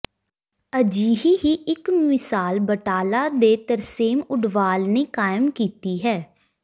ਅਜਿਹੀ ਹੀ ਇਕ ਮਿਸਾਲ ਬਟਾਲਾ ਦੇ ਤਰਸੇਮ ਉਡਵਾਲ ਨੇ ਕਾਇਮ ਕੀਤੀ ਹੈ